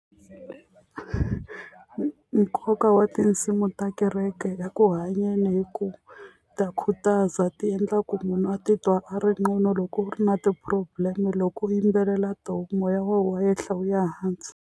Nkoka wa tinsimu ta kereke eku hanyeni i ku ta khutaza ti endla ku munhu a titwa a ri ngcono loko u ri na ti-problem loko u yimbelela tona moya wa yehla wu ya hansi.